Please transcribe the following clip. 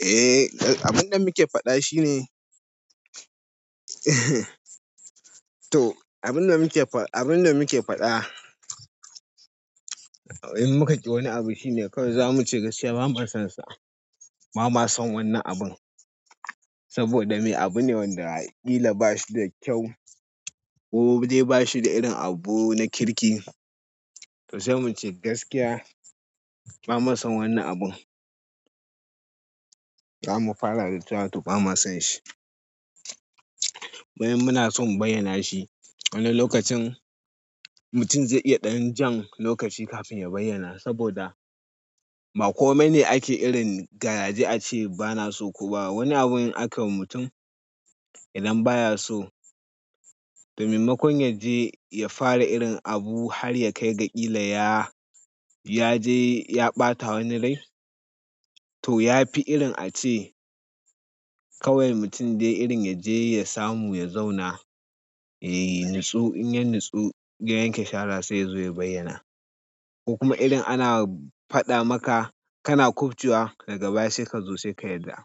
Eh, abun da muke faɗa shine to abun da muke faɗa, abun da muke faɗa in muka ji wani abu shine kawai zamu ce gaskiya ba mu son sa. Ba ma son wannan abun saboda me abu ne wanda ƙila ba shi da kyau ko dai ba shi da irin abu na kirki. To sai mu ce gaskiya, ba mu son wannan abun. Za mu fara da cewa to ba mu son shi. Munason mu bayyana shi. Wani lokacin mutum zai iya ɗan jan lokaci kafin ya bayyana saboda ba kome ne ake irin garaje a ce bana so ko ba. Wani abun ake wa mutum idan baya so, to maimakon yaje ya fara irin abu har ya kai ga ƙila ya, ya je ya ɓata wani rai. To ya fi irin a ce kawai mutum dai irin ya je ya samu ya zauna, ya yi natsu. In ya natsu, ya yanke shara sai ya zo ya bayyana. Ko kuma irin ana faɗa maka kana kwafuwa daga baya sai ka zo sai ka yarda.